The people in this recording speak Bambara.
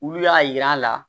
Olu y'a yir'a la